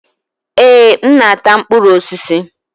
Èé, m na-ata mkpụrụ osisi